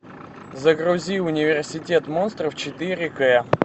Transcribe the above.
загрузи университет монстров четыре к